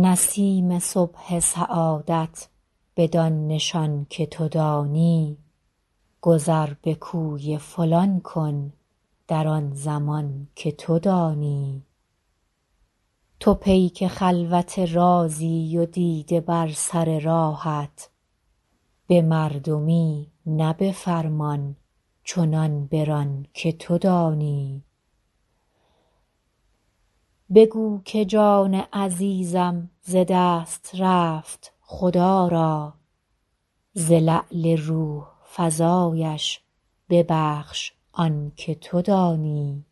نسیم صبح سعادت بدان نشان که تو دانی گذر به کوی فلان کن در آن زمان که تو دانی تو پیک خلوت رازی و دیده بر سر راهت به مردمی نه به فرمان چنان بران که تو دانی بگو که جان عزیزم ز دست رفت خدا را ز لعل روح فزایش ببخش آن که تو دانی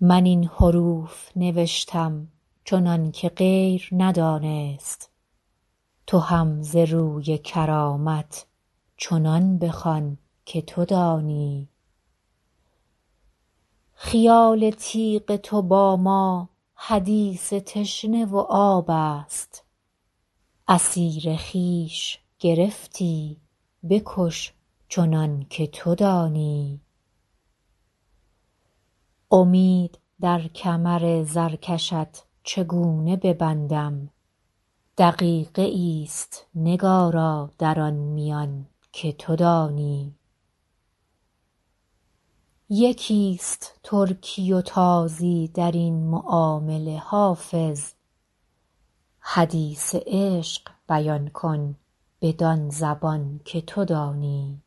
من این حروف نوشتم چنان که غیر ندانست تو هم ز روی کرامت چنان بخوان که تو دانی خیال تیغ تو با ما حدیث تشنه و آب است اسیر خویش گرفتی بکش چنان که تو دانی امید در کمر زرکشت چگونه ببندم دقیقه ای است نگارا در آن میان که تو دانی یکی است ترکی و تازی در این معامله حافظ حدیث عشق بیان کن بدان زبان که تو دانی